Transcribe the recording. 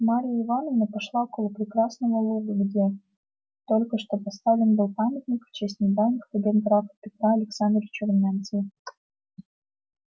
марья ивановна пошла около прекрасного луга где только что поставлен был памятник в честь недавних побед графа петра александровича румянцева